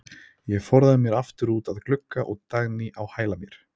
Ég forðaði mér aftur út að glugga og Dagný á hæla mér.